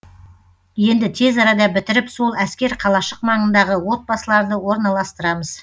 енді тез арада бітіріп сол әскер қалашық маңындағы отбасыларды орналастырамыз